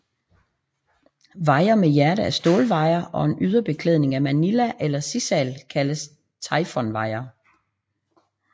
Wire med hjerte af stålwire og en yderbeklædning af manila eller sisal kaldes taifunwire